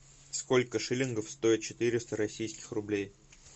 сколько шиллингов стоят четыреста российских рублей